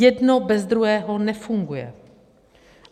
Jedno bez druhého nefunguje.